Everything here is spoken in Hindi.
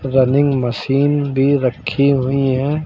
रनिंग मशीन भी रखी हुई है।